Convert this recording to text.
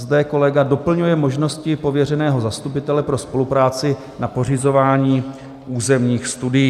Zde kolega doplňuje možnosti pověřeného zastupitele pro spolupráci na pořizování územních studií.